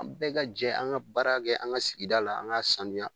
An bɛɛ ka jɛ an ka baara kɛ an ka sigida la an ka sanuya.